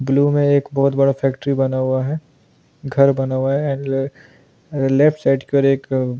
blue में एक बहुत बड़ा फैक्ट्री बना हुआ है घर बना हुआ है एंड लेफ्ट साइड की और एक --